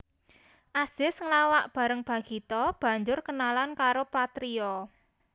Azis nglawak bareng Bagito banjur kenalan karo Patrio